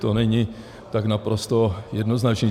To není tak naprosto jednoznačné.